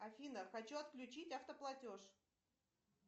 афина хочу отключить автоплатеж